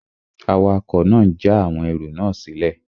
Awakọ̀ náà n já àwọn ẹrù náà sílẹ̀